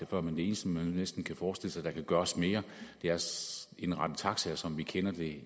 før men det eneste man næsten kan forestille sig der kan gøres mere er at indrette taxaer som vi kender det